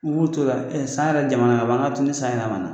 U b'u t'o la san yɛrɛ jamana ka ban an ŋ'a to ni san yɛlɛmana.